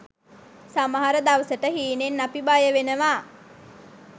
සමහර දවසට හීනෙන් අපි බය වෙනවා.